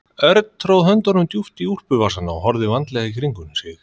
Örn tróð höndunum djúpt í úlpuvasana og horfði vandlega í kringum sig.